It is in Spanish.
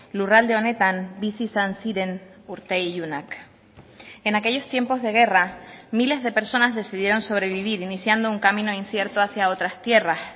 lurralde honetan bizi izan ziren urte ilunak en aquellos tiempos de guerra miles de personas decidieron sobrevivir iniciando un camino incierto hacia otras tierras